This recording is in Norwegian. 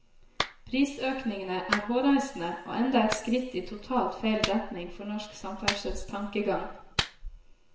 Prisøkningene er hårreisende og enda et skritt i totalt feil retning for norsk samferdselstankegang.